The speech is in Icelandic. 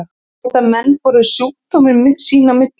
Geta menn borið sjúkdóminn sín á milli?